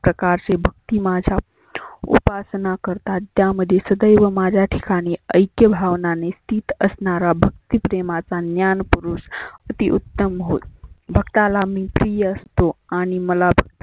प्रकाशी भक्ती माझ्या उपासना करतात. त्यामध्ये सदैव माझ्या ठिकाणी ऐक्य भावनाने स्थित असनारा भक्ती प्रेमाचा ज्ञान पुरुष आती उत्तम होत भक्ताला मी प्रिय असतो. आणि मला